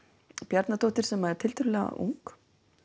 Bjarnadóttir sem er tiltölulega ung